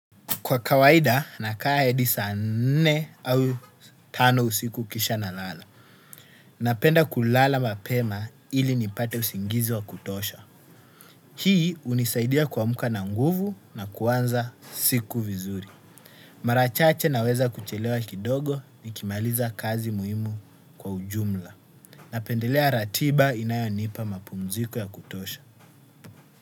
Kwa kawaida, nakaa hadi saa nne au tano usiku kisha nalala. Napenda kulala mapema ili nipate usingizi wa kutosha. Hii uhnisaidia kuamka na nguvu na kuanza siku vizuri. Mara chache naweza kuchelewa kidogo nikimaliza kazi muhimu kwa ujumla. Napendelea ratiba inayonipa mapumziko ya kutosha.